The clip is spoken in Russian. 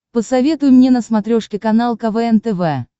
посоветуй мне на смотрешке канал квн тв